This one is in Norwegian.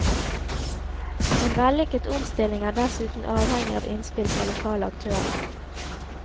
En vellykket omstilling er dessuten avhengig av innspill fra lokale aktører.